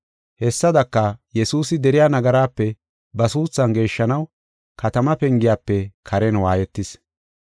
Hessadaka, Yesuusi deriya nagaraape ba suuthan geeshshanaw katamaa pengiyafe karen waayetis.